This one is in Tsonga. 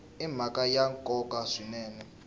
i mhaka ya nkoka swinene